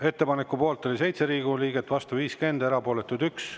Ettepaneku poolt oli 7 Riigikogu liiget, vastu 50, erapooletuid 1.